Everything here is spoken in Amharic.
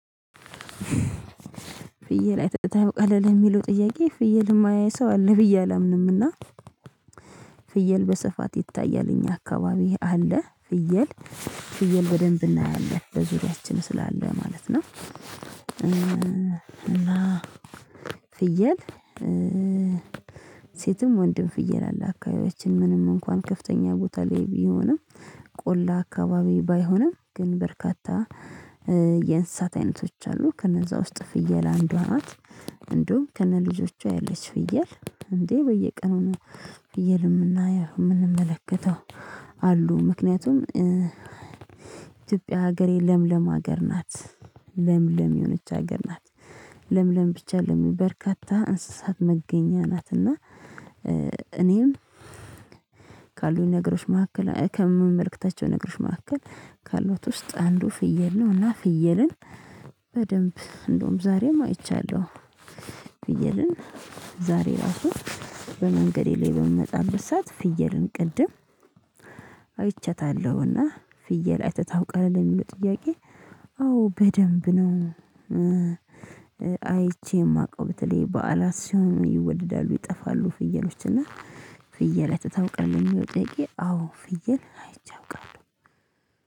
ፍየል አይተህ ታውቃለህ ለሚለው ጥያቄ ፍየል ማያይ ሰው አለ ብዬ አላምንም እና ፍየል በስፋት ይታያል እኛ አካባቢ አለ ፍየል ፍየል በደንብ እናያለን በዙሪያችን ስላለ ማለት ነው። እና ፍየል ሴትም ወንድም ፍየል አለ አካባቢያችን ምንም እንኳን ከፍተኛ ቦታ ላይ ቢሆንም ቆላ አካባቢ ባይሆንም ግን በርካታ የእንስሳት አይነቶች አሉ ከነዛ ውስጥ ፍየል አንዷ ናት። እንደውም ከነልጆቿ ያለች ፍየል እንዴ በየቀኑ ነው። ፍየል የምናየው የምንመለከተው አሉ ምክንያቱም ኢትዮጵያ ሀገሬ ለምለም ሀገር ናት። ለምለም የሆነች ሀገር ናት ለምለም ብቻ አይደለም በርካታ እንስሳት መገኛ ናት። እና እኔም ካሉኝ ነገሮች መካከል ከምመልከታቸው ነገሮች መካከል ካለት ውስጥ አንዱ ፍየል ነው እና ፍየልን በደንብ እንደውም ዛሬም አይቻለሁ። ፍየልን ዛሬ ራሱ በመንገዴ ላይ በምንመጣበት ብርሳት ፍየልን ቅድም አይቻታለሁ እና ፍየል አይተህ ታውቃለህ የሚለው ጥያቄ? አዎ በደንብ ነው። አይቼ የማውቀው በተለይ በዓላት ሲሆን ይወደዳሉ ይጠፋሉ ፍየሎች እና ፍየል አይተህ ታውቃለህ? ለሚለው ጥያቄ አዎ ፍየል አይቼው አውቃለሁ።